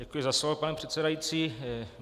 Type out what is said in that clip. Děkuji za slovo, pane předsedající.